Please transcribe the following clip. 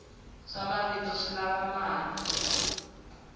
swa mavito swi lava mali